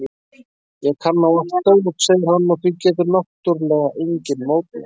Ég kann á allt dót, segir hann og því getur náttúrlega enginn mótmælt.